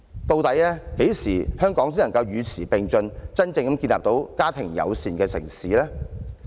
究竟何時香港才能與時並進，真正成為一個家庭友善的城市呢？